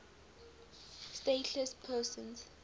stateless persons